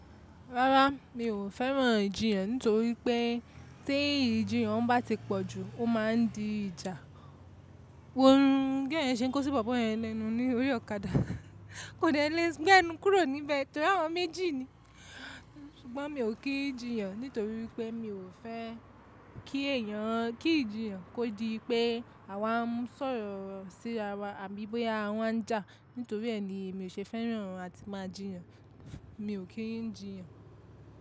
Rárá, mi ò fẹ́ràn ìjiyàn nítorí pé tí ìjiyàn bá ti pọ̀ jù ó máa ń di ìjà. Ohun girl ye ṣe ń kó sí bọ̀bọ́ ẹ lẹ́nu ní orí ọ̀kadà, kò dè lè gbé ẹnu kúrò níbẹ̀ torí àwọn méjì ni. Ṣùgbọ́n mi ò kí ìjiyàn nítorí pé mi ò fẹ́ kí èèyàn, kí ìjiyàn kó di pé àwa ń sọ̀rọ̀ sí ara àbí bóyá àwọn ń jà. Nítorí è ni èmi ò se fẹ́ràn áti mà jiyàn mi o kì jiyàn.